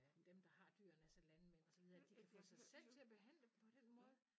At dem der har dyrene altså landmænd og så videre at de kan få sig selv til at behandle dem på den måde